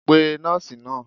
pe nọọsi naa!